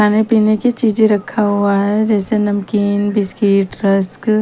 खाने पिने की चीज़े रखा हुआ है जैसे नमकीन बिस्किट रस्क --